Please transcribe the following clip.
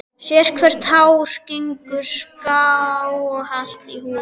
Sérhvert hár gengur skáhallt í húðina.